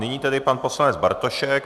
Nyní tedy pan poslanec Bartošek.